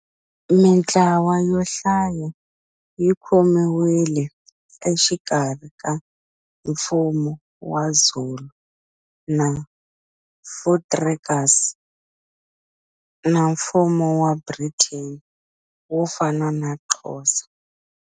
Mintlawa yo hlaya yi khomiwile exikarhi ka Mfumo wa Zulu na Voortrekkers na Mfumo wa Britain wo fana na Xhosa.